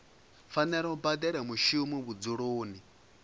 fanela u badela mushumi vhudzuloni